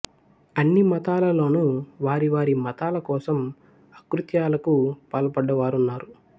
అన్ని మతాలలోనూ వారి వారి మతాల కోసం అకృత్యాలకు పాల్పడ్డవారున్నారు